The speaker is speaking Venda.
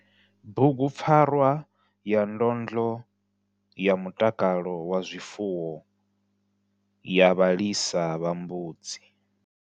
BUGUPFARWA YA NDONDLO YA MUTAKALO WA ZWIFUWO YA VHALISA VHA MBUDZI.